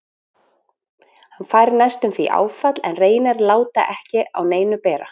Hann fær næstum því áfall en reynir að láta ekki á neinu bera.